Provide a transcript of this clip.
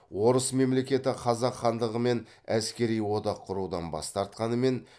орыс мемлекеті қазақ хандығымен әскери одақ құрудан бас тартқанымен